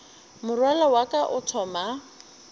morwalo wa ka o thoma